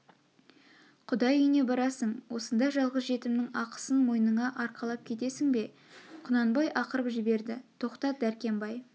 құдай үйне барасың осындай жалғыз жетімнің ақысын мойныңа арқалап кетесің бе құнанбай ақырып жіберді тоқтат дәркембай